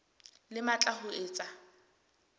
le matla a ho etsa